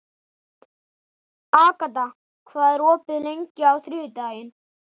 Agata, hvað er opið lengi á þriðjudaginn?